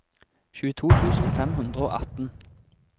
tjueto tusen fem hundre og atten